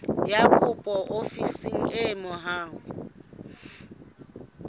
ya kopo ofising e haufi